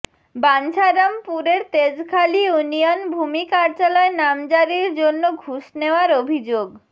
বাঞ্ছারামপুরের Tejkhali union ভূমি কার্যালয় নামজারির জন্য ঘুষ নেওয়ার অভিযোগ